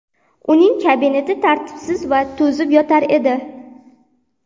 Uning kabineti tartibsiz, to ‘ zib yotar edi.